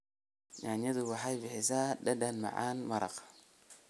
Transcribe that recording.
Yaanyada waxay bixisaa dhadhan macaan maraq.